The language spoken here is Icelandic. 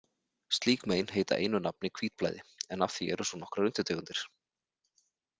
Slík mein heita einu nafni hvítblæði, en af því eru svo nokkrar undirtegundir.